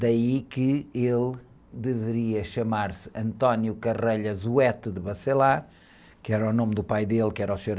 Daí que ele deveria chamar-se, que era o nome do pai dele, que era o senhor...